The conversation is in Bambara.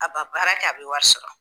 A ba baara kɛ a bɛ wari sɔrɔ.